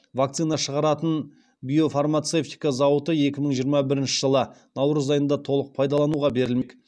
вакцина шығаратын биофармацевтика зауыты екі мың жиырма бірінші жылы наурыз айында толық пайдалануға берілмек